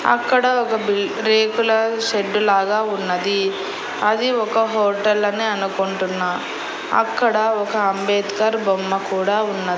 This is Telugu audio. అక్కడ ఒక బిల్ రేకుల షెడ్డు లాగా ఉన్నది అది ఒక హోటల్ అని అనుకుంటున్నా అక్కడ ఒక అంబేద్కర్ బొమ్మ కూడా ఉన్నది.